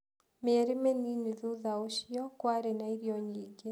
Mĩeri mĩnini thutha ũcio, kwarĩ na irio nyingĩ.